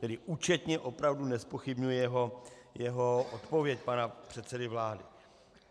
Tedy účetně opravdu nezpochybňuji jeho odpověď, pana předsedy vlády.